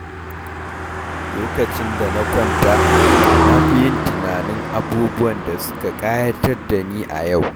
Lokacin da na kwanta, na fi yin tunanin abubuwan da suka kayatar da ni yau.